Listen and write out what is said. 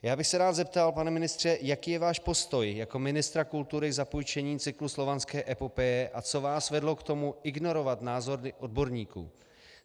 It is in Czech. Já bych se rád zeptal, pane ministře, jaký je váš postoj jako ministra kultury k zapůjčení cyklu Slovanské epopeje a co vás vedlo k tomu ignorovat názory odborníků?